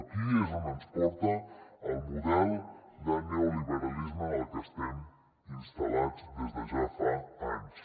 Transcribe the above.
aquí és on ens porta el model de neoliberalisme en el que estem instal·lats des de ja fa anys